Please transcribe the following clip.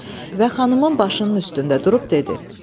Və xanımın başının üstündə durub dedi: